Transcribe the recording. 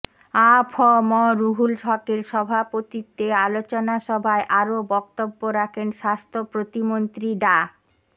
আ ফ ম রুহুল হকের সভাপতিত্বে আলোচনা সভায় আরও বক্তব্য রাখেন স্বাস্থ্য প্রতিমন্ত্রী ডা